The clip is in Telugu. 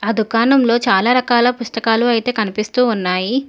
ఆ దుకాణంలో చాలా రకాల పుస్తకాలు అయితే కనిపిస్తూ ఉన్నాయి